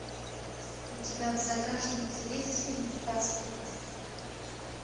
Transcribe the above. у тебя в загашнике есть фильм каспер